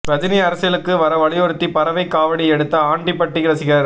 ரஜினி அரசியலுக்கு வர வலியுறுத்தி பறவை காவடி எடுத்த ஆண்டிபட்டி ரசிகர்